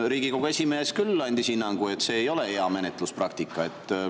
Riigikogu esimees andis hinnangu, et see ei ole hea menetluspraktika.